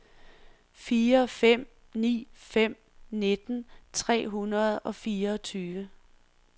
fire fem ni fem nitten tre hundrede og fireogtyve